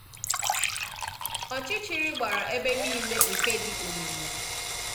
Ọchịchịrị gbara ebe niile nke dị omimi.